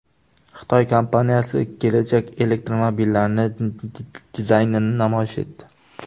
Xitoy kompaniyasi kelajak elektromobillarining dizaynini namoyish etdi.